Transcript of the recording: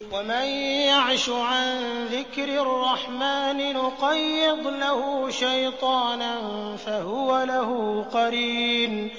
وَمَن يَعْشُ عَن ذِكْرِ الرَّحْمَٰنِ نُقَيِّضْ لَهُ شَيْطَانًا فَهُوَ لَهُ قَرِينٌ